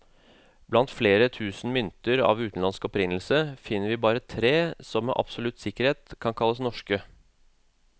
Blant flere tusen mynter av utenlandsk opprinnelse, finner vi bare tre som med absolutt sikkerhet kan kalles norske.